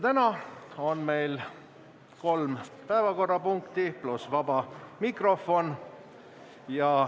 Täna on meil kolm päevakorrapunkti pluss vaba mikrofon.